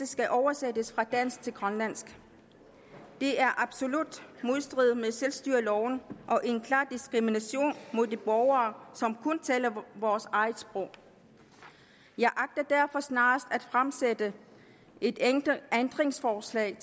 skal oversættes fra dansk til grønlandsk det er absolut i modstrid med selvstyreloven og en klar diskrimination af de borgere som kun taler vores eget sprog jeg agter derfor snarest at fremsætte et ændringslovforslag